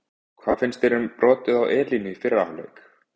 Hvað finnst þér um brotið á Elínu í fyrri hálfleik?